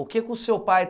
O que que o seu pai?